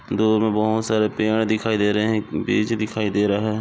दूर मे बहुत सारे पेड़ दिखाई दे रहे है एक ब्रिज दिखाई दे रहा है।